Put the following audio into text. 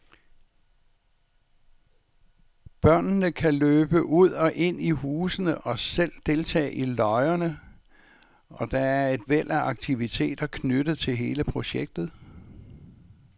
Børnene kan løbe ud og ind i husene og selv deltage i løjerne, og der er et væld af aktiviteter knyttet til hele projektet.